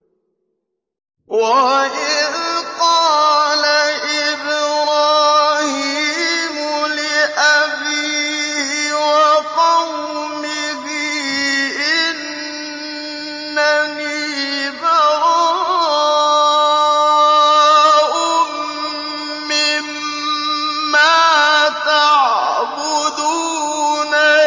وَإِذْ قَالَ إِبْرَاهِيمُ لِأَبِيهِ وَقَوْمِهِ إِنَّنِي بَرَاءٌ مِّمَّا تَعْبُدُونَ